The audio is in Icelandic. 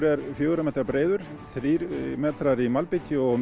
er fjögurra metra breiður þrír metrar í malbiki og